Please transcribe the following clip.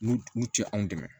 N'u u tɛ anw dɛmɛ